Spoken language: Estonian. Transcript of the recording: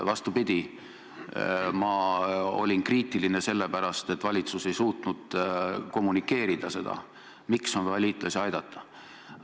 Vastupidi, ma olin kriitiline sellepärast, et valitsus ei suutnud kommunikeerida seda, miks on vaja liitlasi aidata.